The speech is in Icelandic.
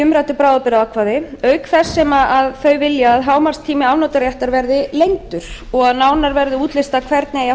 umræddu bráðabirgðaákvæði auk þess sem þau vilja að hámarkstími afnotaréttar verði lengdur og að nánar verði útlistað hvernig